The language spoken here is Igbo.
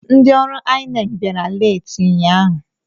Ndị ọrụ INEC bịara leeti ụnyaahụ.